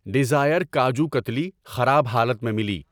ڈزائر کاجو کتلی خراب حالت میں ملی۔